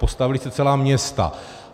Postavila se celá města.